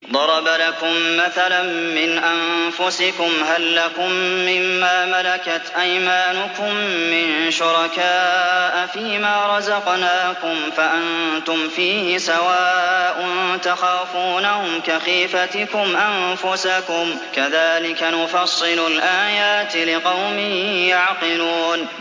ضَرَبَ لَكُم مَّثَلًا مِّنْ أَنفُسِكُمْ ۖ هَل لَّكُم مِّن مَّا مَلَكَتْ أَيْمَانُكُم مِّن شُرَكَاءَ فِي مَا رَزَقْنَاكُمْ فَأَنتُمْ فِيهِ سَوَاءٌ تَخَافُونَهُمْ كَخِيفَتِكُمْ أَنفُسَكُمْ ۚ كَذَٰلِكَ نُفَصِّلُ الْآيَاتِ لِقَوْمٍ يَعْقِلُونَ